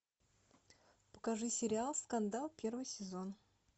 покажи сериал скандал первый сезон